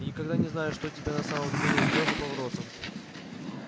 и никогда не знаешь что тебя на самом деле ждёт за поворотом